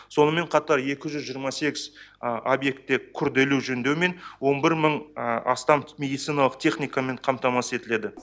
сонымен қатар екі жүз жиырма сегіз объекті күрделі жөндеумен он бір мың астам медициналық техникамен қамтамасыз етіледі